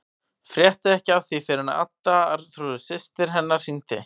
Frétti ekki af því fyrr en Adda, Arnþrúður systir hennar, hringdi.